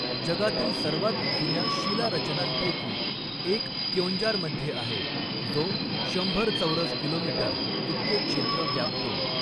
जगातील सर्वात जुन्या शिलारचनांपैकी एक क्योंजारमध्ये आहे, जो शंभर चौरस किलोमीटर इतके क्षेत्र व्यापतो.